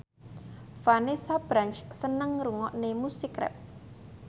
Vanessa Branch seneng ngrungokne musik rap